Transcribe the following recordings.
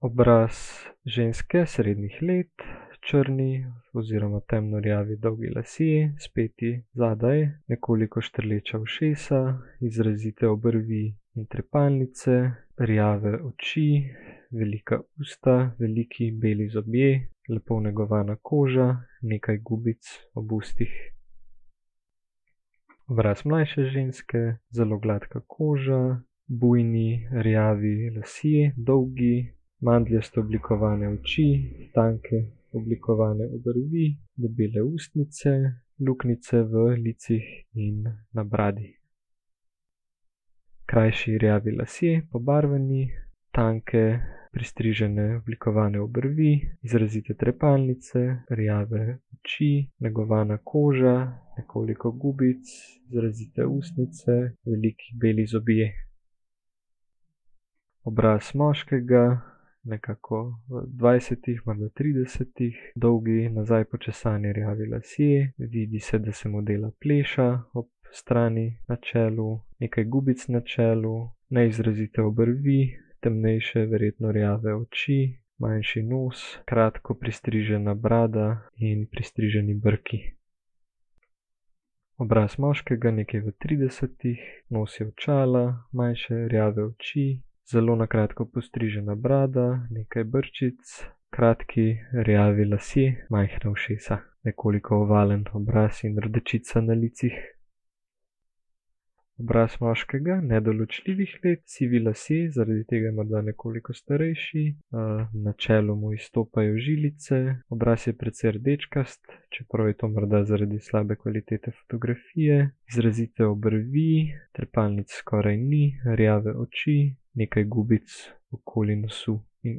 Obraz ženske srednjih let, črni oziroma temno rjavi dolgi lasje, speti zadaj, nekoliko štrleča ušesa, izrazite obrvi in trepalnice. Rjave oči, velika usta, veliki beli zobje, lepo negovana koža, nekaj gubic ob ustih. Obraz mlajše ženske, zelo gladka koža, bujni rjavi lasje, dolgi, mandljasto oblikovane oči, tanke oblikovane obrvi, debele ustnice, luknjice v licih in na bradi. Krajši rjavi lasje, pobarvani. Tanke pristrižene, oblikovane obrvi, izrazite trepalnice, rjave oči, negovana koža, nekoliko gubic, izrazite ustnice, veliki beli zobje. Obraz moškega nekako v dvajsetih tridesetih, dolgi, nazaj počesani rjavi lasje, vidi se, da mu dela pleša ob strani, na čelu, nekaj gubic na čelu, neizrazite obrvi, temnejše verjetno rjave oči, manjši nos, kratko pristrižena brada in pristriženi brki. Obraz moškega nekje v tridesetih, nosi očala, manjše rjave oči, zelo na kratko postrižena brada, nekaj brčic, kratki rjavi lasje, majhna ušesa, nekoliko ovalen obraz in rdečica na licih. Obraz moškega nedoločljivih let, sivi lasje, zaradi tega morda nekoliko starejši, na čelu mu izstopajo žilice, obraz je precej rdečkast, čeprav je to morda zaradi slabe kvalitete fotografije. Izrazite obrvi, trepalnic skoraj ni, rjave oči, nekaj gubic okoli nosu in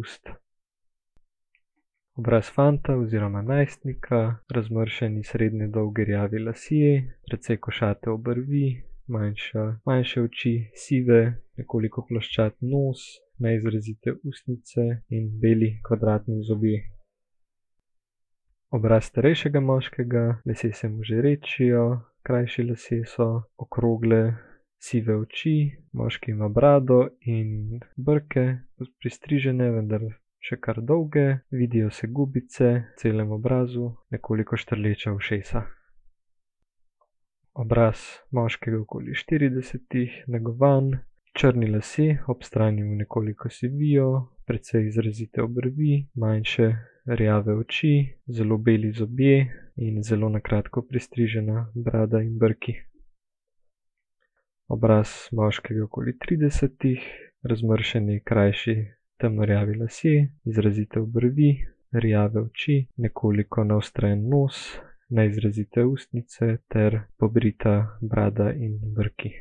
ust. Obraz fanta oziroma najstnika, razmršeni srednje dolgi rjavi lasje, precej košate obrvi, manjša, manjše oči, sive, nekoliko ploščat nos, neizrazite ustnice in beli kvadratni zobje. Obraz starejšega moškega, lasje se mu že redčijo, krajši lasje so, okrogle sive oči, moški ima brado in brke pristrižene, vendar še kar dolge, vidijo se gubice po celem obrazu, nekoliko štrleča ušesa. Obraz moškega okoli štiridesetih, negovan, črni lasje, ob strani mu nekoliko sivijo, precej izrazite obrvi, manjše rjave oči, zelo beli zobje in zelo na kratko pristrižena brada in brki. Obraz moškega okoli tridesetih, razmršeni, krajši temno rjavi lasje, izrazite obrvi, rjave oči, nekoliko naostren nos, neizrazite ustnice ter obrita brada in brki.